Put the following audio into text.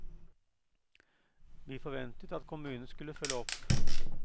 Vi forventet at kommunen skulle følge opp.